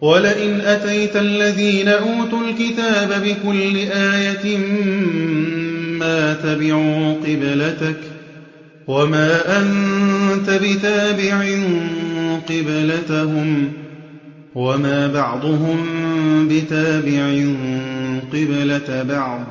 وَلَئِنْ أَتَيْتَ الَّذِينَ أُوتُوا الْكِتَابَ بِكُلِّ آيَةٍ مَّا تَبِعُوا قِبْلَتَكَ ۚ وَمَا أَنتَ بِتَابِعٍ قِبْلَتَهُمْ ۚ وَمَا بَعْضُهُم بِتَابِعٍ قِبْلَةَ بَعْضٍ ۚ